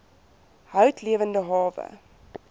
hout lewende hawe